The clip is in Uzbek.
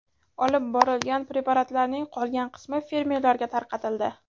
Olib borilgan preparatlarning qolgan qismi fermerlarga tarqatildi.